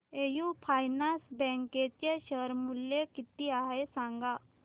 AU finance bank चे share मूल्य किती आहे सांगा